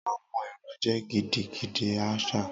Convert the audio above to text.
Awọn ẹrọ jẹ gidigidi archaic